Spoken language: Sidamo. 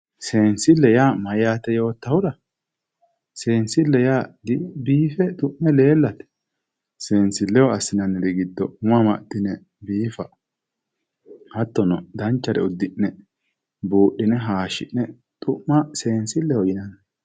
Sensile yaa mayyaate hootahura sensille yaa di bife xu'me lelate sinsikeho asinaniri gido umo amaxine bifa hatono danchare udine budhine hashine xuma sensileho yinanni